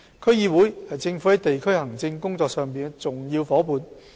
區議會是政府在地區行政工作上的重要夥伴。